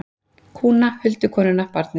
Kúna, huldukonuna, barnið.